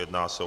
Jedná se o